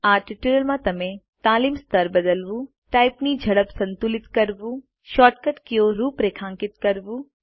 આ ટ્યુટોરીયલ માં તમે તાલીમ સ્તર બદલવું ટાઈપ ની ઝડપ સંતુલિત કરવું શોર્ટ કટ કીઓ રૂપરેખાંકિત કરવું